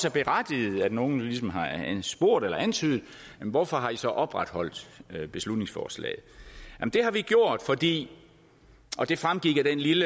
er berettiget at nogen ligesom har spurgt eller antydet hvorfor har i så opretholdt beslutningsforslaget det har vi gjort fordi og det fremgik af den lille